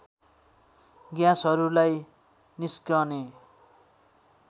ग्याँसहरूलाई निस्कने